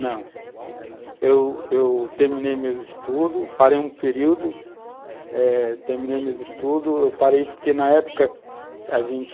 Não, eu eu terminei meus estudos, parei um período eh, terminei meus estudos, eu parei porque na época a gente